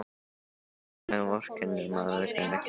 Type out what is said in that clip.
Og þess vegna vorkennir maður þeim ekki.